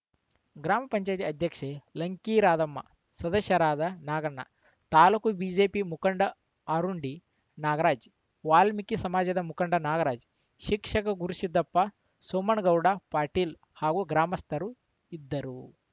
ಗ್ರಾಮ ಪಂಚಾಯತೆ ಅಧ್ಯಕ್ಷೆ ಲಂಕಿ ರಾಧಮ್ಮ ಸದಸ್ಯರಾದ ನಾಗಣ್ಣ ತಾಲೂಕು ಬಿಜೆಪಿ ಮುಖಂಡ ಆರುಂಡಿ ನಾಗರಾಜ್‌ ವಾಲ್ಮೀಕಿ ಸಮಾಜದ ಮುಖಂಡ ನಾಗರಾಜ ಶಿಕ್ಷಕ ಗುರುಸಿದ್ದಪ್ಪ ಸೋಮನಗೌಡ ಪಾಟೀಲ್‌ ಹಾಗೂ ಗ್ರಾಮಸ್ಥರು ಇದ್ದರು